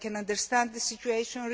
I can understand the situation.